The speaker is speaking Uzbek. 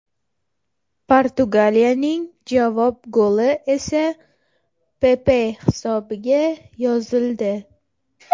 Portugaliyaning javob goli esa Pepe hisobiga yozildi.